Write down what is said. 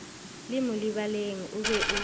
le molebaleng o be o